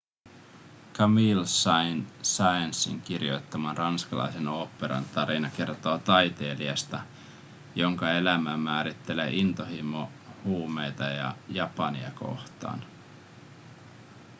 camille saint-saënsin kirjoittaman ranskalaisen oopperan tarina kertoo taiteilijasta jonka elämää määrittelee intohimo huumeita ja japania kohtaan